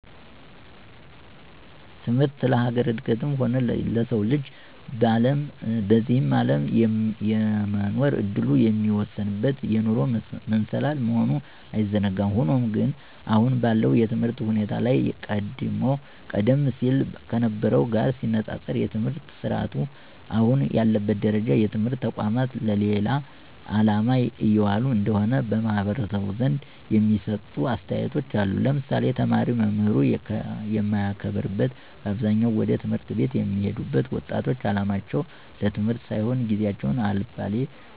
ትምህርት ለሀገር እድገትም ሆነ ለሰው ልጅ በዚህ አለም የመኖር እድሉን የሚወስንበት የኑሮ መሰላል መሆኑ አይዘነጋም። ሆኖም ግን አሁን ባለው የትምህርት ሁኔታ ላይ ቀደም ሲል ከነበርው ጋር ሲነፃፀር የትምህርት ስረአቱ አሁን ያለበት ደረጃ የትምህርት ተቋማት ለሌላ አላማ እየዋሉ እንደሆነ በማህበረሰቡ ዘንድ የሚሰጡ አስተያየቶች አሉ ለምሳሌ፦ ተማሪ መምህሩን የማያከብርበት በአብዛኛው ወደ ት/ቤት የሚሄዱት ወጣቶች አላማቸው ለትምህርት ሳይሆን ጊዚየቸውን አልባሌ